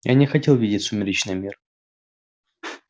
я не хотел видеть сумеречный мир